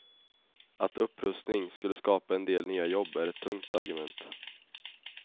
Att upprustning skulle skapa en del nya jobb är ett tunt argument.